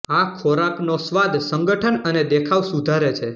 આ ખોરાકનો સ્વાદ સંગઠન અને દેખાવ સુધારે છે